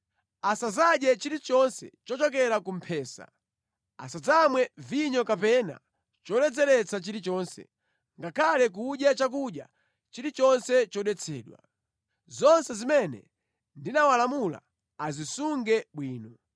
Asadzadye chilichonse chochokera ku mphesa. Asadzamwe vinyo kapena choledzeretsa chilichonse, ngakhale kudya chakudya chilichonse chodetsedwa. Zonse zimene ndinawalamula azisunge bwino.”